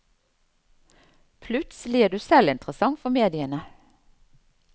Plutselig er du selv interessant for mediene.